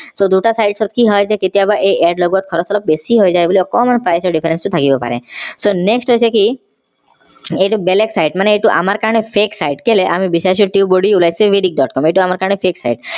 so দুটা site ৰ কি হয় কেতিয়াবা এই add লগোৱাত খৰছ অলপ বেছি হৈ যায় বুলি অকণমান price difference টো থাকিব পাৰে so next হৈছে কি এইটো বেলেগ site মানে এইটো আমাৰ কাৰণে fake site কেলে বিছাৰিছো tubebuddy ওলাইছে vidiq. com এইটো আমাৰ কাৰণে fake site